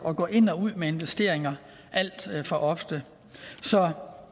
at gå ind og ud med investeringer alt for ofte så